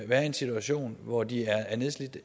være i en situation hvor de er nedslidte